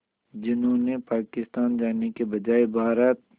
जिन्होंने पाकिस्तान जाने के बजाय भारत